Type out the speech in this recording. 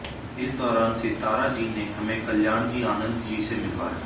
इस दौरान सिताराजी ने हमें कल्याणजी आनंदजी से मिलवाया